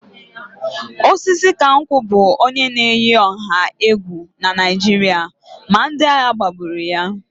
Osisikankwu bụ onye na-eyi ọha egwu na Naịjirịa ma ndị agha gbagburu ya